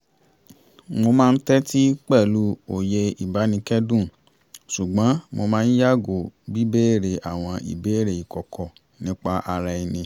mo máa ń tẹ́tí pẹ̀lú òye ìbánikẹ́dùn ṣùgbọ́n mo máa ń yààgò bí béèrè àwọn ìbéèrè ìkọ̀kọ̀ nípa ara ẹni